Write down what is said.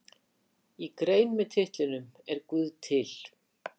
Í grein með titlinum Er guð til?